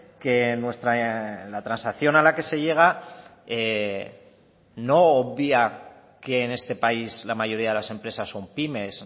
que la transacción a la que se llega no obvia que en este país la mayoría de las empresas son pymes